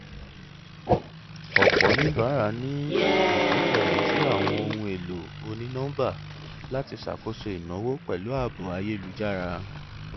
ọpọ oníbàárà ní ìgbẹkẹlé sí àwọn ohun èlò onínọmbà láti ṣàkóso ìnáwó pẹlú ààbò ayélújára